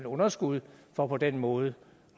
underskud for på den måde